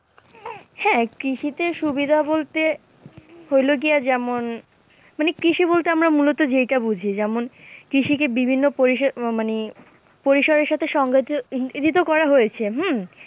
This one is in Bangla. হ্যাঁ, কৃষিতে সুবিধা বলতে হইলো গিয়া যেমন মানে কৃষি বলতে আমরা মূলত যেইটা বুঝি যেমন কৃষিকে বিভিন্ন আহ মানে পরিষেবার সাথে করা হয়েছে হম